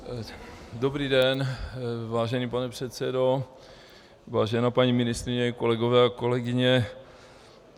Dobrý den, vážený pane předsedo, vážená paní ministryně, kolegyně a kolegové.